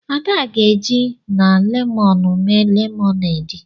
Ada ga-eji na lemọnụ mee lemonade.